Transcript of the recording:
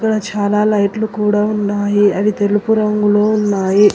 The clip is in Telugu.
ఇక్కడ చాలా లైట్లు కూడా ఉన్నాయి అవి తెలుపు రంగులో ఉన్నాయి.